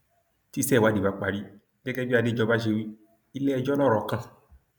tíse ìwádìí bá parí gẹgẹ bí adéjọba ṣe wí iléẹjọ lọrọ kan